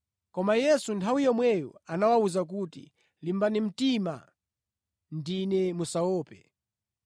Koma Yesu nthawi yomweyo anawawuza kuti, “Limbani mtima! Ndine, musaope.”